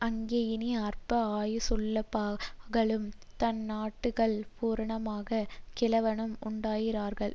அங்கே இனி அற்ப ஆயுசுள்ளபாலகனும் தன் நாட்கள் பூரணமாகாத கிழவனும் உண்டாயிரார்கள்